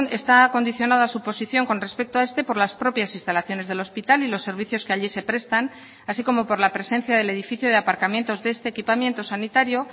está condicionada su posición con respecto a este por las propias instalaciones del hospital y los servicios que allí se prestan así como por la presencia del edificio de aparcamientos de este equipamiento sanitario